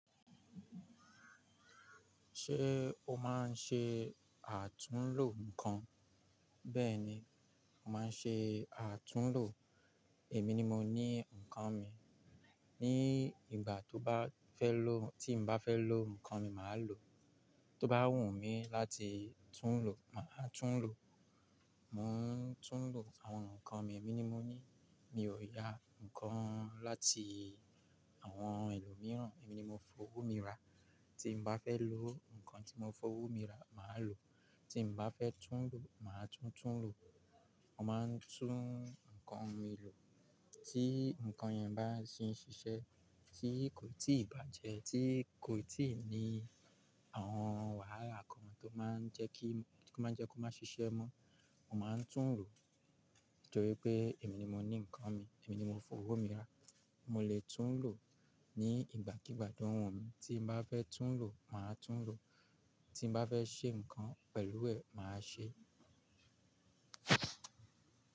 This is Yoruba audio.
Ṣé o máa ń ṣe àtúnlò nǹkan? Bẹ́ẹ̀ni, mo máa ń ṣe àtúnlò èmi ni mo ní nǹkan mi. Ni ìgbà tó bá fẹ́ lò-- tí mo bá fẹ́ lò nǹkan mi, màá lò. Tó bá wù mí láti tún lò, màá tún lò. Mò ń tún lò àwọn nǹkan mi, èmi ni mo ní. Mi ò ya nǹkan láti àwọn ẹlòmíràn, èmi ni mo fowó mi rà. Tí mo bá fẹ́ lò nǹkan tí mo fowó mi rà, màá lò. Tí mo bá fẹ́ tún lò, màá tún tún lò. Mo máa ń tún nǹkan mi lò. Tí nǹkan yẹn bá sì ń ṣiṣẹ́, tí kò tíì bàjẹ́, tí kò tíì ní àwọn wàhálà kan tó máa ń jẹ́ kí, tó máa ń jẹ́ kó má ṣiṣẹ́ mọ́, mo máa ń tún lò torí pé èmi ni mo ní nǹkan mi, èmi ni mo fowó mi rà. Mo lè tún lò ní ìgbàkígbà tó wù mí, tí mo bá fẹ́ tún lò, màá tún lò, tí mo bá fẹ́ ṣe nǹkan pẹ̀lú ẹ̀, màá ṣe.